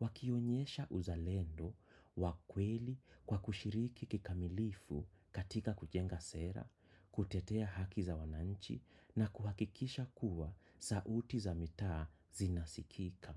wakionyesha uzalendo, wa kweli kwa kushiriki kikamilifu katika kujenga sera, kutetea haki za wananchi na kuhakikisha kuwa sauti za mitaa zinasikika.